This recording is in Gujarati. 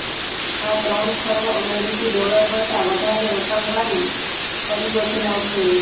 આ ત્રણ ખર્વ અમેરિકી ડોલર કરતા વધારે રોકાણવાળી પરિયોજના છે